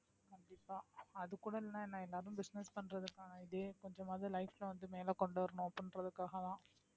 கண்டிப்பா அதுகூட இல்லைன்னா என்ன என்ன business பண்றதுக்கான இதே கொஞ்சமாவது life ல வந்து மேல கொண்டு வரணும் அப்படின்றதுக்காகதான்